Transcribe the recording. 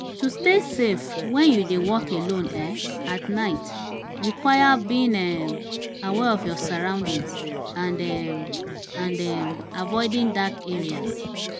to stay safe when you dey walk alone um at night require being um aware of your surroundings and um and um avioding dark areas.